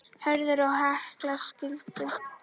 Hörður og Helga skildu.